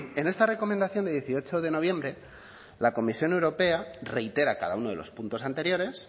en esta recomendación de dieciocho de noviembre la comisión europea reitera cada uno de los puntos anteriores